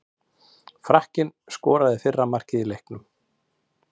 Frakkinn skoraði fyrra markið í leiknum.